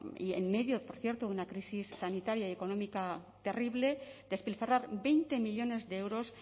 y en medio por cierto de una crisis sanitaria y económica terrible despilfarrar veinte millónes de euros